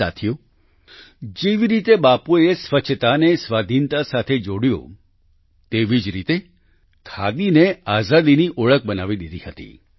સાથીઓ જેવી રીતે બાપૂએ સ્વચ્છતાને સ્વાધિનતા સાથે જોડ્યું તેવી જ રીતે ખાદીને આઝાદીની ઓળખ બનાવી દીધી હતી